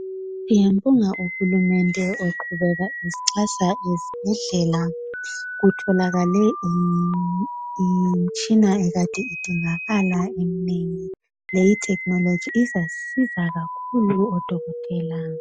siyambonga uhulumende oqhubeka esixhasa ezibhedlela kutholakale imitshina ekade idingakala eminengi leyi i technology izasisiza kakhulu odokotela